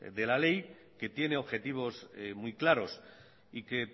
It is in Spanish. de la ley que tiene objetivos muy claros y que